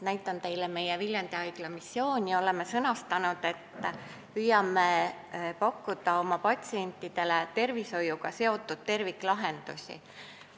Näitan teile meie Viljandi Haigla missiooni ja oleme sõnastanud, et püüame pakkuda oma patsientidele tervishoiuga seotud terviklahendusi.